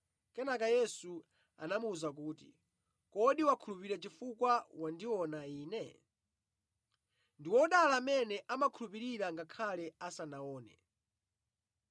Kenaka Yesu anamuwuza kuti, “Kodi wakhulupirira chifukwa wandiona Ine? Ndi odala amene amakhulupirira ngakhale asanaone.”